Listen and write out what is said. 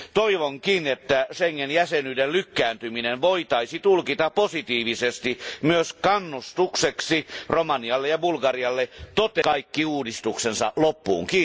Toivonkin, että Schengen jäsenyyden lykkääntyminen voitaisiin tulkita positiivisesti myös kannustukseksi Romanialle ja Bulgarialle viedä kaikki uudistuksensa loppuun.